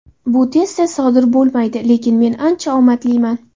Bu tez-tez sodir bo‘lmaydi, lekin men ancha omadliman.